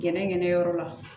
Gɛnɛgɛnɛyɔrɔ la